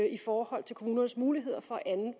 i forhold til kommunernes muligheder for anden